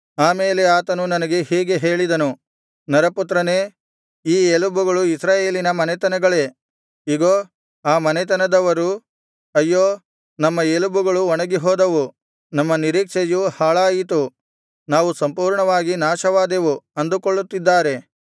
ಆಮೇಲೆ ಆತನು ನನಗೆ ಹೀಗೆ ಹೇಳಿದನು ನರಪುತ್ರನೇ ಈ ಎಲುಬುಗಳು ಇಸ್ರಾಯೇಲಿನ ಮನೆತನಗಳೇ ಇಗೋ ಆ ಮನೆತನದವರು ಅಯ್ಯೋ ನಮ್ಮ ಎಲುಬುಗಳು ಒಣಗಿಹೋದವು ನಮ್ಮ ನಿರೀಕ್ಷೆಯು ಹಾಳಾಯಿತು ನಾವು ಸಂಪೂರ್ಣವಾಗಿ ನಾಶವಾದೆವು ಅಂದುಕೊಳ್ಳುತ್ತಿದ್ದಾರೆ